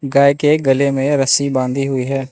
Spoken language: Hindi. गाय के गले में रस्सी बांधी हुई है।